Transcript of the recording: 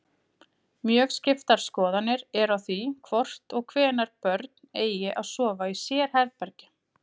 Mjög skiptar skoðanir eru á því hvort og hvenær börn eigi að sofa í sérherbergi.